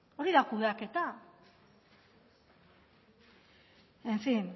hori da kudeaketa en fin